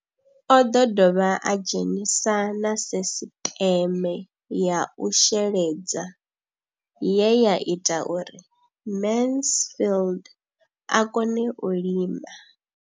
O ḓo dovha a dzhenisa na sisiṱeme ya u sheledza ye ya ita uri Mansfied a kone u lima.